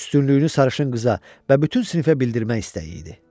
Üstünlüyünü sarışın qıza və bütün sinifə bildirmək istəyi idi.